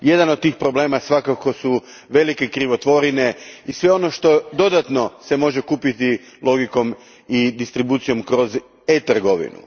Jedan od tih problema svakako su velike krivotvorine i sve ono što se dodatno može kupiti logikom i distribucijom kroz e trgovinu.